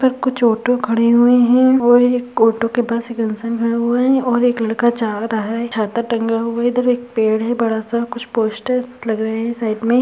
यहाँ पर कुछ ऑटो खड़े हुए हैं और एक ऑटो के पास एक इंसान खड़ा हुआ है और एक लड़का जा रहा है। छाता टंगा हुआ है। इधर एक पेड़ है बड़ा सा। कुछ पोस्टर्स लगे हुए हैं साइड में।